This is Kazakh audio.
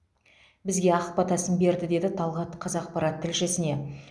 бізге ақ батасын берді деді талғат қазақпарат тілшісіне